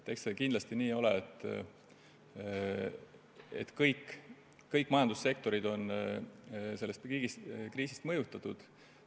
Eks see nii ole, et kõik majandussektorid on sellest kriisist mõjutatud.